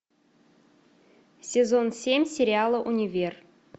сезон семь сериала универ